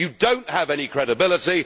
You do not have any credibility.